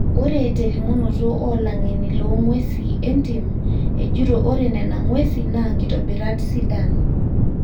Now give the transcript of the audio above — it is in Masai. Ore telimunoto olangeni longwesi entim ejito ore nena ngwesi naa nkitobirat sidan.